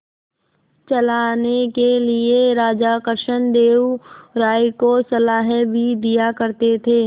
चलाने के लिए राजा कृष्णदेव राय को सलाह भी दिया करते थे